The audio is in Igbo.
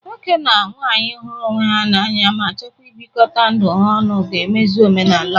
Nwoke na nwaanyị hụrụ onwe ha n'anya ma chọkwa ịbịkọta ndụ ha ọnụ ga-emezu omenala alumdị.